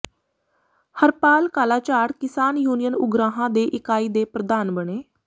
Harpal Kalajhar Kisan union Ugrahan ਦੇ ਇਕਾਈ ਦੇ ਪ੍ਰਧਾਨ ਬਣੇ